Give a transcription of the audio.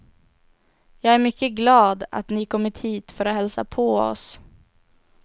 Jag är mycket glad, att ni kommit hit för att hälsa på oss.